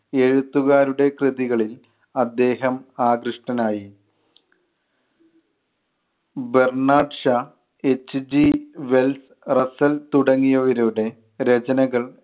എഴുത്തുകാരുടെ കൃതികളിൽ അദ്ദേഹം ആകൃഷ്ടനായി. Bernard Shaw, h. g Wells‍, Russell തുടങ്ങിയവരുടെ രചനകൾ